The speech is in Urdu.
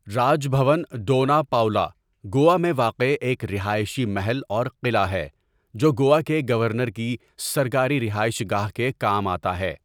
راج بھون ڈونا پاؤلا، گوا میں واقع ایک رہائشی محل اور قلعہ ہے جو گوا کے گورنر کی سرکاری رہائش گاہ کے کام آتا ہے۔